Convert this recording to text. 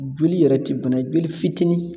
Joli yɛrɛ ti bana, joli fitinin